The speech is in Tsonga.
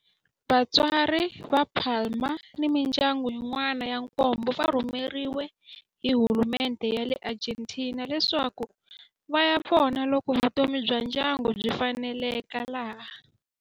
Vatswari va Palma ni mindyangu yin'wana ya nkombo va rhumeriwe hi hulumendhe ya le Argentina leswaku va ya vona loko vutomi bya ndyangu byi faneleka laha.